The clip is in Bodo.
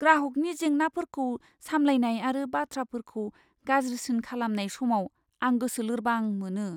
ग्राहकनि जेंनाफोरखौ सामलायनाय आरो बाथ्राफोरखौ गाज्रिसिन खालामनाय समाव आं गोसो लोरबां मोनो।